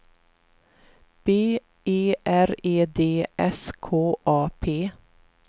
B E R E D S K A P